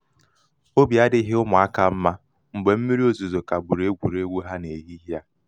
obi adịghị ụmụaka mma mgbe mmírí ozuzo kagburu egwuregwu ha nehihie a.